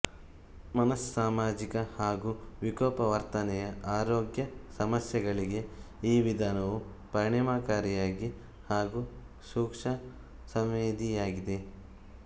ಮನಸ್ಸಾಮಾಜಿಕ ಹಾಗೂ ವಿಕೋಪ ವರ್ತನೆಯ ಆರೋಗ್ಯ ಸಮಸ್ಯೆಗಳಿಗೆ ಈ ವಿಧಾನವು ಪರಿಣಾಮಕಾರಿ ಹಾಗೂ ಸೂಕ್ಷ್ಮ ಸಂವೇದಿಯಾಗಿದೆ